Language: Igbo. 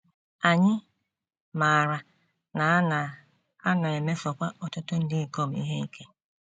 Anyị maara na a na - a na - emesokwa ọtụtụ ndị ikom ihe ike.